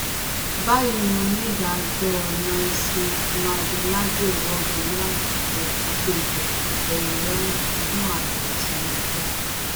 báyìí ni onídàájọ nancy maldonado wọgi lé àǹfààní pípéjọ kòtẹmilọrùn fún ààrẹ tinubu